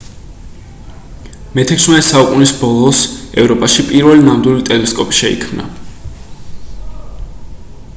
მე-16 საუკუნის ბოლოს ევროპაში პირველი ნამდვილი ტელესკოპი შეიქმნა